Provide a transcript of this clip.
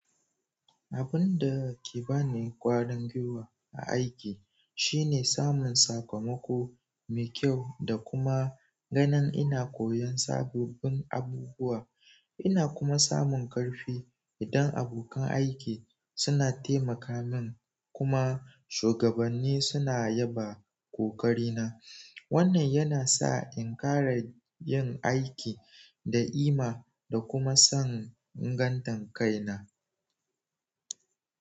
Abun da ke ba ni ƙwarin gwiwa a aiki shine samun sakamako mai kyau da kuma ganin ina koyon sabobin abubuwa. Ina kuma samun ƙarfi idan abokan aiki suna taimaka min kuma shugabanni suna yaba ƙoƙarina. Wannan yana sa in ƙara yin aiki da ima da kuma son ingantan kaina.